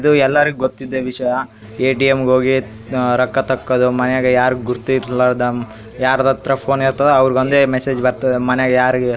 ಇದು ಎಲ್ಲರ್ಗೂ ಗೊತ್ತಿದ್ದೆ ವಿಷಯಾ ಎ.ಟಿ.ಎಂ. ಗ್ ಓಗಿ ಆಆಆ ರೊಕ್ಕ ತಕ್ಕೊದು ಮನೆಗ್ ಯಾರ್ ಗುರ್ತಿರ್ಲ್ಲದಂ ಯಾರ್ದತ್ರ ಫೋನ್ ಇರ್ತದ ಅವ್ರಗೊಂದೆ ಮೆಸೇಜ್ ಬರ್ತದ ಮನೆಗ್ ಯಾರ್ಗ್ --